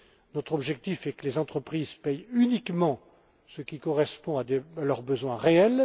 Notre objectif est que les entreprises payent uniquement ce qui correspond à leurs besoins réels.